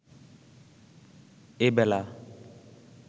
এবেলা